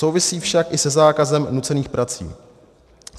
Souvisí však i se zákazem nucených prací.